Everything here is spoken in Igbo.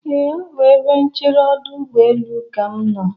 Ee, ọ bụ ebe nchere ọdụ ụgbọlelu ka m nọ.